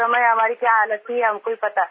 उस समय हमारी क्या हालत हुई हमको ही पता